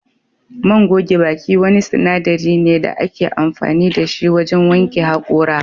Man goge baki wani sinadari ne da ake amfani da shi wajen wanke hakora